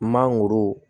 Mangoro